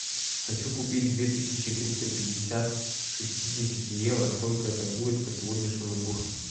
хочу купить две тысячи триста пятьдесят шестидесяти евро сколько это будет по сегодняшнему курсу